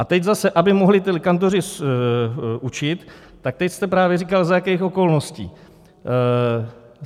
A teď zase, aby mohli ti kantoři učit, tak teď jste právě říkal, za jakých okolností.